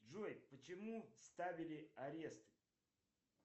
джой почему ставили арест